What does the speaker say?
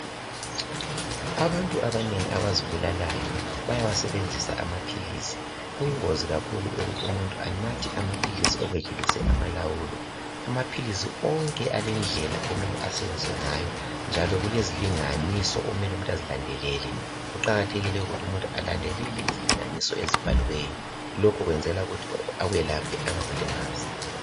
Abantu abanengi abazibulalayo bayawasebenzisa amaphilisi. Kuyingozi kakhulu ukuthi umuntu anathe amaphilisi okwedlulise amalawulo. Amaphilisi onke alendlela okumele asetshenziswe ngayo njalo kulezilinganiso okumele umuntu azilandelele. Kuqakathekile ukuthi umuntu alandelele izilinganiso ezibhaliweyo. Lokho kwenzelwa ukuthi akwelaphe angakulimazi.